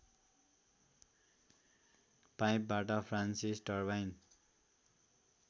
पाइपबाट Francis turbine